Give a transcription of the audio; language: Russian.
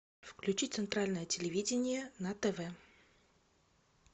включи центральное телевидение на тв